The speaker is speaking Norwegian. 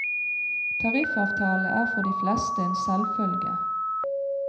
Tariffavtale er for de fleste en selvfølge.